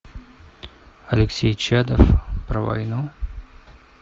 алексей чадов про войну